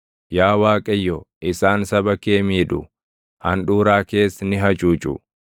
Yaa Waaqayyo, isaan saba kee miidhu; handhuuraa kees ni hacuucu.